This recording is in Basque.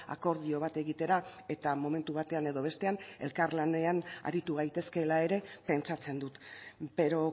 akordio bat egitera eta momentu batean edo bestean elkarlanean aritu gaitezkela ere pentsatzen dut pero